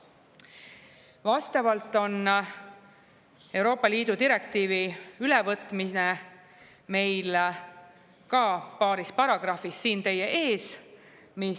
Vastavalt on Euroopa Liidu direktiivi ülevõtmine meil ka paaris paragrahvis siin teie ees.